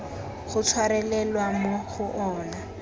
go tshwarelelwa mo go ona